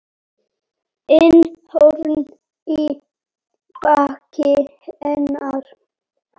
inn horn í baki hennar.